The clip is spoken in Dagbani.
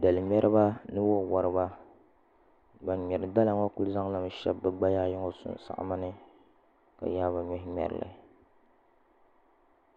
Dali ŋmɛriba ni wo woriba ban ŋmɛri dala ŋo ku zaŋlimi shɛbi bi gbaya ayi ŋo ni sinsaɣama ni ka yaai bi nuhi ŋmɛrili